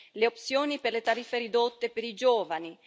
le opzioni per tariffe ridotte per i giovani